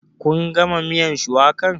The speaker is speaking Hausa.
Kun gama miyan shuwakan?